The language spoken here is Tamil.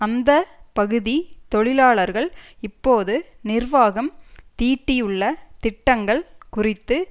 அந்த பகுதி தொழிலாளர்கள் இப்போது நிர்வாகம் தீட்டியுள்ள திட்டங்கள் குறித்து